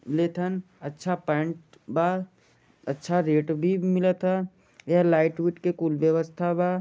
अच्छी पैंट बा रेट भी मिलता है लाइट सब कुछ है बा